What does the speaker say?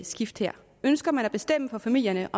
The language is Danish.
skift her ønsker man at bestemme for familierne